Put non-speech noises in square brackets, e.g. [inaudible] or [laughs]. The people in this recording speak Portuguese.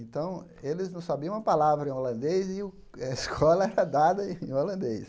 Então, eles não sabiam uma palavra em holandês e o [laughs] a escola era dada em holandês.